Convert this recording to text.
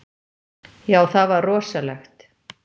Já, það var rosalegt.